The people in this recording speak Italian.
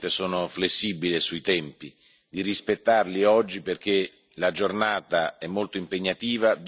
Normalmente sono flessibile sui tempi, ma vi prego di rispettarli oggi perché la giornata è molto impegnativa.